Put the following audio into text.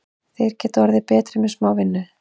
Þeir geta orðið enn betri með smá vinnu.